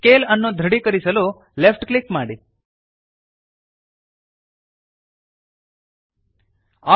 scale ಅನ್ನು ದೃಢೀಕರಿಸಲು left click ಮಾಡಿರಿ